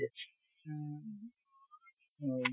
উম । হয়